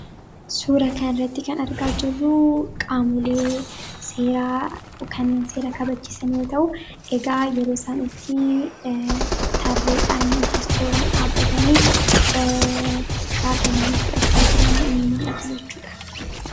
suura kanratti kan argaa jirruu qaamulee seeraa dhukanneen seera kabachiisan yoo ta'u egaa yeroo sanitti tarridhaan yookiis tuuraan dhaabbatanii shaakallii fudhachaa jiran mul'atu jechuudha.